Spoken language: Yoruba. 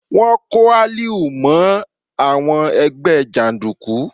Wọ́n kó Aliu mọ́ àwọn ẹgbẹ́ jàndùkú.